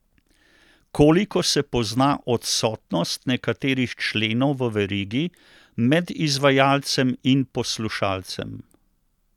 Koliko se pozna odsotnost nekaterih členov v verigi med izvajalcem in poslušalcem?